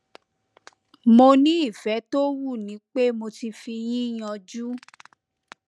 mo ní ìfẹ tó wú ni pé mo ti fi yín yánju